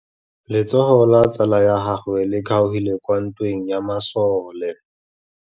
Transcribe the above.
Letsôgô la tsala ya gagwe le kgaogile kwa ntweng ya masole.